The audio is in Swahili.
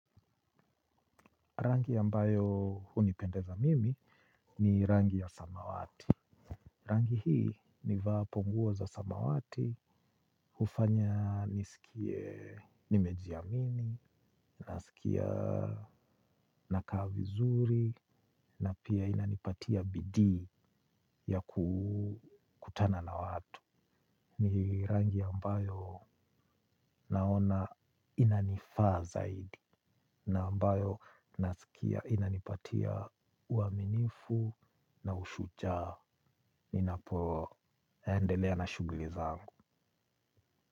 Rangi ambayo hunipendeza mimi ni rangi ya samawati. Rangi hii nivaapo nguo za samawati, hufanya nisikie nimejiamini, nasikia nakaa vizuri, na pia inanipatia bidii ya kukutana na watu. Ni rangi ambayo naona inanifaa zaidi. Na ambayo naskia inanipatia uaminifu na ushujaa. Ninapoendelea na shughuli zangu.